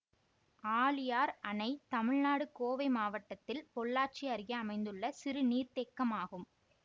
ஆழியார் அணை தமிழ்நாடு கோவை மாவட்டத்தில் பொள்ளாச்சி அருகே அமைந்துள்ள சிறு நீர்த்தேக்கமாகும்